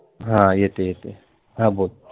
हां येतय येतय हां बोल